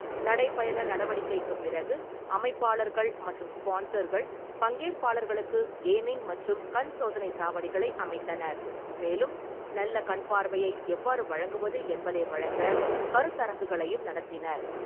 நடைபயண நடவடிக்கைக்குப் பிறகு, அமைப்பாளர்கள் மற்றும் ஸ்பான்சர்கள் பங்கேற்பாளர்களுக்கு கேமிங் மற்றும் கண் சோதனை சாவடிகளை அமைத்தனர், மேலும் நல்ல கண்பார்வையை எவ்வாறு வழங்குவது என்பதை வழங்க கருத்தரங்குகளையும் நடத்தினர்.